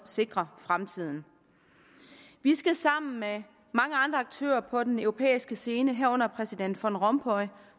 sikre fremtiden vi skal sammen med mange andre aktører på den europæiske scene herunder præsident van rompuy